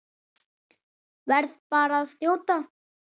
Verð bara að þjóta!